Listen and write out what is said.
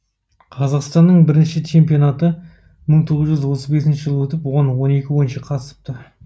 қазақстанның бірінші чемпионаты мың тоғыз жүз отыз бесінші жылы өтіп оған он екі ойыншы қатысыпты